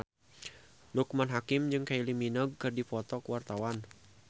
Loekman Hakim jeung Kylie Minogue keur dipoto ku wartawan